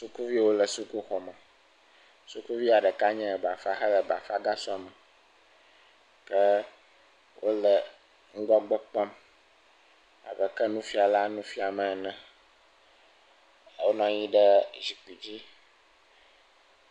Sukuviwo le sukuxɔ me. Sukuvi ɖeka nye bafa hele bafa gasɔ me ke wo le ŋgɔgbe kpɔm ab eke nufiala nu fiam ene. Wonɔ anyi ɖe zikui dzi.